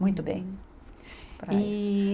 Muito bem para isso. E